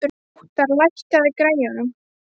Óttar, lækkaðu í græjunum.